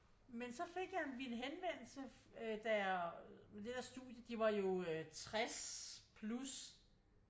Men så fik jeg vi en henvendelse der øh med det der studie de var jo 60 plus